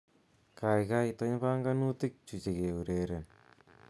Kaikai itony banganutik chuchekeureren